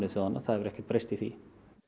þjóðanna það hefur ekkert breyst í því